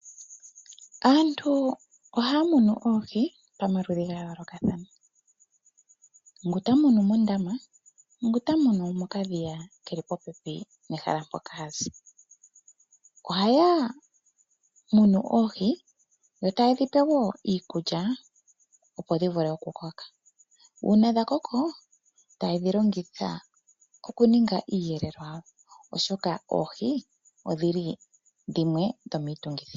Aantu ohaya munu oohi pamaludhi ga yoolokathana. Ngu ta munu mondaama, ngu tamunu mokadhiya keli popepi nehala mpoka ha zi. Ohaya munu oohi yo taye dhi pe wo iikulya opo dhi vule okukoka. Uuna dha koko taye dhi longitha okuninga iiyelelwa, oshoka oohi odhili dhimwe dhomiitungithi yolutu.